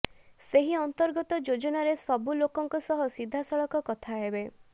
ସେହି ଅନ୍ତର୍ଗତ ଯୋଜନାରେ ସବୁ ଲୋକଙ୍କ ସହ ସିଧାସଳଖ କଥା ହେବେ